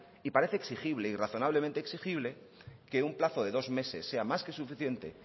y parece exigible y razonablemente exigible que un plazo de dos meses sea más que suficiente